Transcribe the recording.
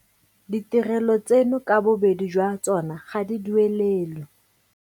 Ditirelo tseno ka bobedi jwa tsona ga di duelelwe.